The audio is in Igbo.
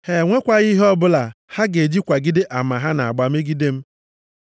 Ha enwekwaghị ihe ọbụla ha ga-eji kwagide ama ha na-agba megide m.